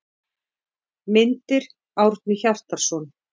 Myndir: Árni Hjartarson.